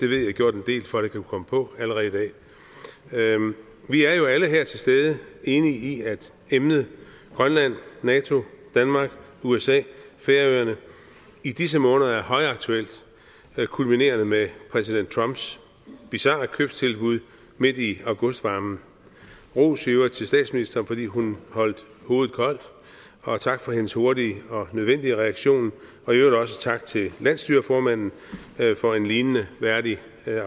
for at at kunne komme på allerede i dag vi er jo alle her til stede i enige i at emnet grønland nato danmark usa færøerne i disse måneder er højaktuelt kulminerende med præsident trumps bizarre købstilbud midt i augustvarmen ros i øvrigt til statsministeren fordi hun holdt hovedet koldt og tak for hendes hurtige og nødvendige reaktion og i øvrigt også tak til landsstyreformanden for en lignende værdig